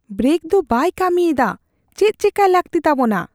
Brake ᱫᱚ ᱵᱟᱭ ᱠᱟ, ᱢᱤᱭᱮᱫᱟ ᱾ ᱪᱮᱫ ᱪᱮᱠᱟᱭ ᱞᱟᱹᱜᱛᱤ ᱛᱟᱵᱚᱱᱟ ?